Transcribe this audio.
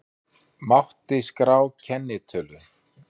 Mátti skrá kennitölu